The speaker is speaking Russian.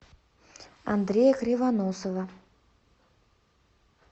андрея кривоносова